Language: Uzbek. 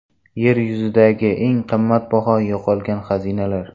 Yer yuzidagi eng qimmatbaho yo‘qolgan xazinalar.